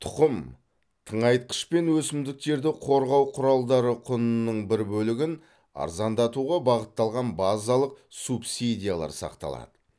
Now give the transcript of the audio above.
тұқым тыңайтқыш пен өсімдіктерді қорғау құралдары құнының бір бөлігін арзандатуға бағытталған базалық субсидиялар сақталады